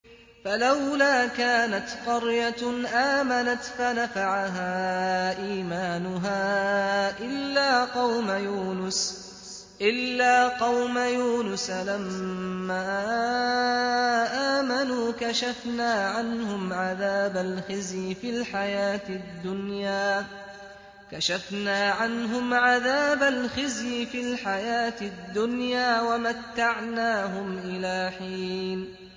فَلَوْلَا كَانَتْ قَرْيَةٌ آمَنَتْ فَنَفَعَهَا إِيمَانُهَا إِلَّا قَوْمَ يُونُسَ لَمَّا آمَنُوا كَشَفْنَا عَنْهُمْ عَذَابَ الْخِزْيِ فِي الْحَيَاةِ الدُّنْيَا وَمَتَّعْنَاهُمْ إِلَىٰ حِينٍ